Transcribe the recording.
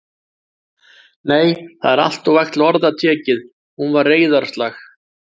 Nei, það er alltof vægt til orða tekið: hún var reiðarslag.